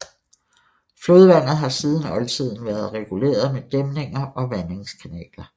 Flodvandet har siden oldtiden været reguleret med dæmninger og vandingskanaler